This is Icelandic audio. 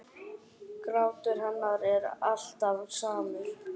Grátur hennar er alltaf samur.